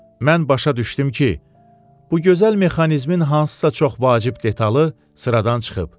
Mən başa düşdüm ki, bu gözəl mexanizmin hansısa çox vacib detalı sıradan çıxıb.